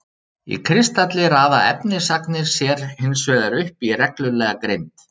Í kristalli raða efnisagnirnar sér hinsvegar upp í reglulega grind.